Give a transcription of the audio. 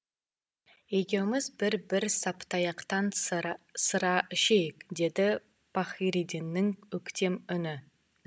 екеуміз бір бір саптаяқтан сыра ішейік деді пахридиннің өктем үні